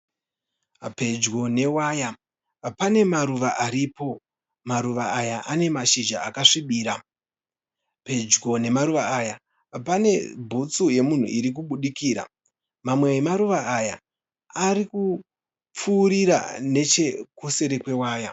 Pedyo newaya pane maruva aripo. Maruva aya ane mashizha akasvibira. Pedyo nemaruva aya pane bhutsu yemunhu iri kubudikira. Mamwe emaruva aya ari kupfuurira nechekuseri kwewaya.